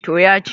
to ya ci